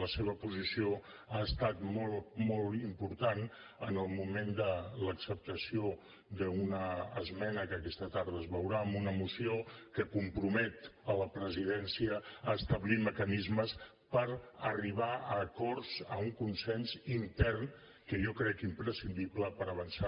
la seva posició ha estat molt molt important en el moment de l’acceptació d’una esmena que aquesta tarda es veurà amb una moció que compromet la presidència a establir mecanismes per arribar a acords a un consens intern que jo crec imprescindible per avançar